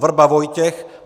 Vrba Vojtěch